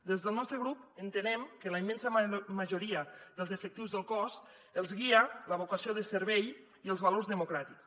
des del nostre grup entenem que a la immensa majoria dels efectius del cos els guia la vocació de servei i els valors democràtics